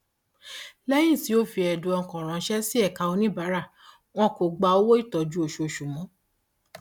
lẹyìn tí o fi ẹdùn ọkàn ránṣẹ sí ẹka oníbàárà wọn kò gba owó ìtọjú oṣooṣù mọ